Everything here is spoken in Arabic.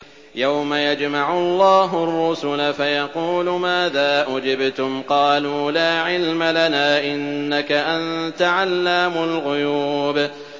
۞ يَوْمَ يَجْمَعُ اللَّهُ الرُّسُلَ فَيَقُولُ مَاذَا أُجِبْتُمْ ۖ قَالُوا لَا عِلْمَ لَنَا ۖ إِنَّكَ أَنتَ عَلَّامُ الْغُيُوبِ